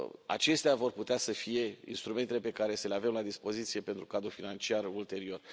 acestea vor putea să fie instrumentele pe care să le avem la dispoziție pentru cadrul financiar ulterior.